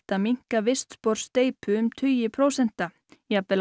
að minnka vistspor steypu um tugi prósenta jafnvel